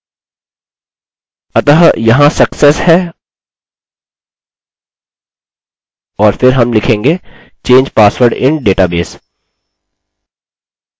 अतः यहाँ success है और फिर हम लिखेंग change password in database